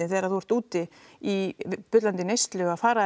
þegar þú ert úti í bullandi neyslu að fara